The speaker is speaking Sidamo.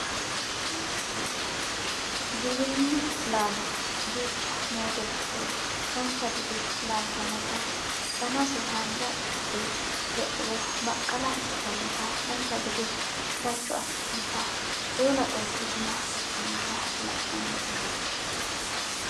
giwirinnu laalo duucha noote giddo dancha gede laaltinota danase haanja ikkite le"uro baqqala ikkitannota dancha gede darcho afidhinota eela qolte gumma tugginota la'nannite